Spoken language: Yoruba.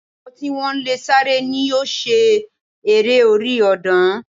Àwọn tí wọ́n lè sáré ni yóò ṣe eré orí ọ̀dàn